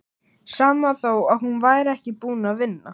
Sama þó að hún væri ekki búin að vinna.